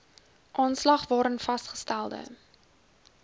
aanslag waarin vasgestelde